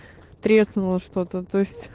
треснула что-то то есть